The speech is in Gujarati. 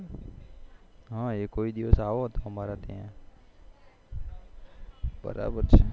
હા કોઈ દિવસ આવો તો અમારા ત્યાં